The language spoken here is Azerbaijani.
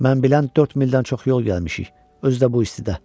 Mən bilən 4 mildən çox yol gəlmişik, özü də bu istidə.